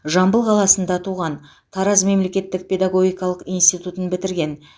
жамбыл қаласында туған тараз мемлекеттік педагогикалық институтын бітірген